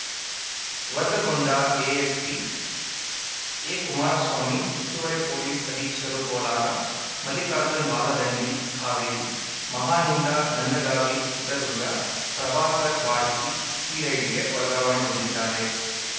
ವರ್ಗಗೊಂಡ ASP ಎಕುಮಾರಸ್ವಾಮಿ ಹೆಚ್ಚುವರಿ police ಅಧೀಕ್ಷರು Kolar Mallikarjun Baladandi Haveri ಮಹಾನಿಂದ Nandagavi Chitradurga Prabhakar Barki ಸಿಐಡಿಗೆ ವರ್ಗಾವಣೆಗೊಂಡಿದ್ದಾರೆ